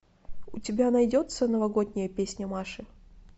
у тебя найдется новогодняя песня маши